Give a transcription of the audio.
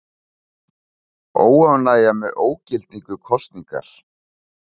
Óánægja með ógildingu kosningar